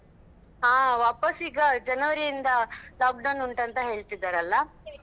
ಹಾ ವಾಪಾಸ್ ಈಗ ಜನವರಿಯಿಂದ lockdown ಉಂಟಂತ ಹೇಳ್ತಿದರಲ್ಲಾ?